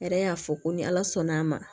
Yɛrɛ y'a fɔ ko ni ala sɔnn'a ma